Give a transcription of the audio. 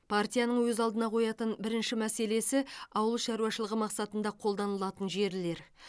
партияның өз алдына қоятын бірінші мәселесі ауыл шаруашылығы мақсатында қолданылатын жерлер